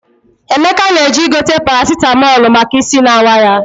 Emeka na-eje igote parasitamọlụ maka isi na-awa ya.